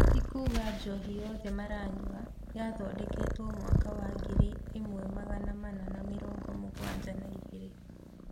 Tĩ kuuga njohi yothe maranyua yothondeketwe mwaka wa ngiri ĩmwe magana mana ma mĩrongo mĩgwanja na igĩri